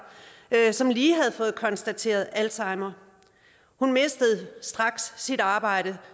som lige havde fået konstateret alzheimer hun mistede straks sit arbejde